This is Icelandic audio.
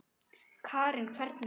Karen: Hvernig?